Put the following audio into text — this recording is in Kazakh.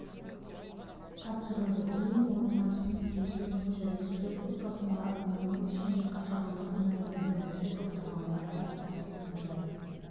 тапсырылды кейін ол транснефть жүйесі бойынша ресейлік қоспасында оның ішінде қашағандық мұнайдың бірінші топтамалары тасымалданды